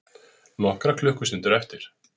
Nokkrar klukkustundir eftir